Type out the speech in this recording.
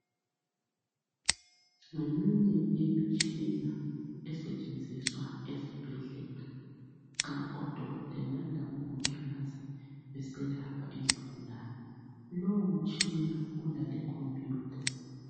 Ngeminye yimitshina esetshenziswa ezibhedlela nxa odokotela labomongikazi beselapha izigulani lowo mtshina ulale computer.